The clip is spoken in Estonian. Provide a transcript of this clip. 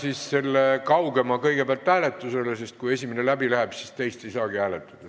Panen selle kaugema kõigepealt hääletusele, sest kui esimene ettepanek läbi läheb, siis teist ei saagi hääletada.